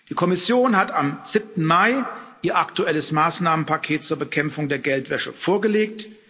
Die Kommission hat am 7. Mai ihr aktuelles Maßnahmenpaket zur Bekämpfung der Geldwäsche vorgelegt.